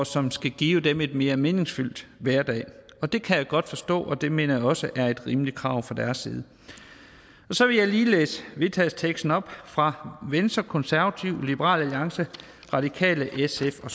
som skal give dem en mere meningsfyldt hverdag det kan jeg godt forstå og det mener jeg også er et rimeligt krav fra deres side så vil jeg lige læse vedtagelsesteksten op fra venstre konservative liberal alliance radikale sf og